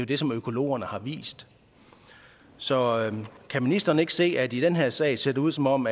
det som økologerne har vist så kan ministeren ikke se at det i den her sag ser ud som om